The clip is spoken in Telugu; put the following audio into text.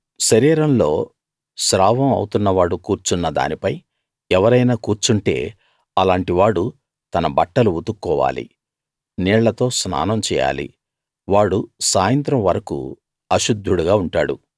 శరీరంలో స్రావం అవుతున్న వాడు కూర్చున్న దానిపై ఎవరైనా కూర్చుంటే అలాంటి వాడు తన బట్టలు ఉతుక్కోవాలి నీళ్ళతో స్నానం చేయాలి వాడు సాయంత్రం వరకూ అశుద్ధుడుగా ఉంటాడు